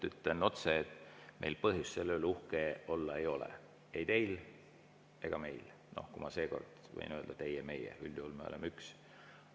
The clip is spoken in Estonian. Ütlen otse, et meil põhjust selle üle uhke olla ei ole, ei teil ega meil, kui ma seekord võin öelda "teie" ja "meie", üldjuhul me oleme üks.